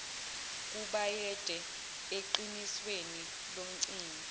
kubayede eqinisweni lomcimbi